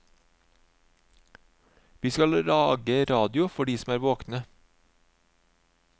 Vi skal lage radio for de som er våkne.